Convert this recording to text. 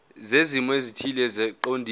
zezimo ezithile eziqondene